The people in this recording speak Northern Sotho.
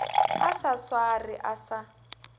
a sa swarwe a sa